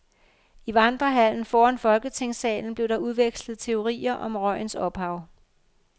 I vandrehallen foran folketingssalen blev der udvekslet teorier om røgens ophav.